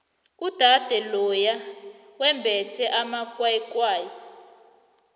udade loya wembethe amakwayikwayi